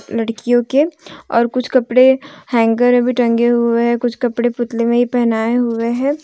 लड़कियों के और कुछ कपड़े हैंगर अभी टंगे हुए हैं कुछ कपड़े पुतले में ही पहनाए हुए हैं।